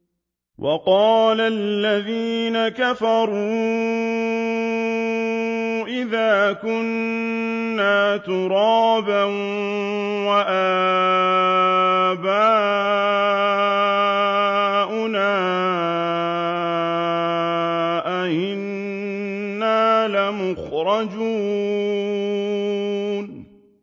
وَقَالَ الَّذِينَ كَفَرُوا أَإِذَا كُنَّا تُرَابًا وَآبَاؤُنَا أَئِنَّا لَمُخْرَجُونَ